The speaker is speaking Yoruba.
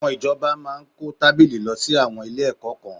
Àwọn ìjọba máa kó tábìlì lọ sí àwọn ilé-ẹ̀kọ́ kan